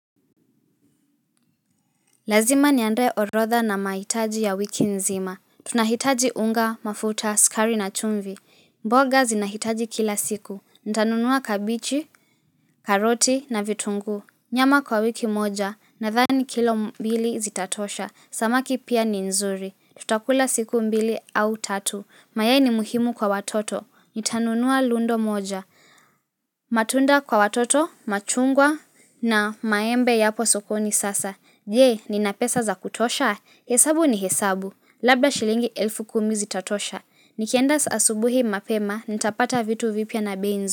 Lazima niandae orodha na mahitaji ya wiki nzima. Tunahitaji unga, mafuta, sukari na chumvi. Mboga zinahitaji kila siku. Nitanunua kabichi, karoti na vitunguu. Nyama kwa wiki moja. Nadhani kilo mbili zitatosha. Samaki pia ni nzuri. Tutakula siku mbili au tatu. Mayai ni muhimu kwa watoto. Nitanunua lundo moja. Matunda kwa watoto, machungwa na maembe yapo sokoni sasa. Je, nina pesa za kutosha? Hesabu ni hesabu. Labda shilingi elfu kumi zitatosha. Nikienda asubuhi mapema, nitapata vitu vipya na bei.